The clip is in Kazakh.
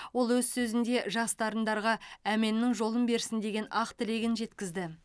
ол өз сөзінде жас дарындарға әменнің жолын берсін деген ақ тілегін жеткізді